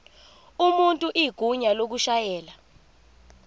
umuntu igunya lokushayela